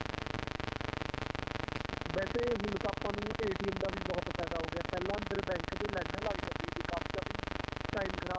ਵੈਸੇ ਹੁਣ ਤਾਂ ਆਪਾਂ ਨੂੰ ਦਾ ਵੀ ਬਹੁਤ ਫਾਇਦਾ ਹੋ ਗਿਆ ਪਹਿਲਾਂ ਅੰਦਰ bank ਦੇ ਲਾਈਨਾਂ ਲੱਗ ਜਾਂਦੀਆਂ ਤੀ ਕਾਫ਼ੀ ਕਾਫ਼ੀ time ਖ਼ਰਾਬ